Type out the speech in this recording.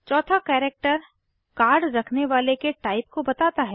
चौथा character card रखने वाले के टाइप को बताता है